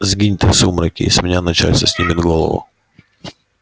сгинь ты в сумраке и с меня начальство снимет голову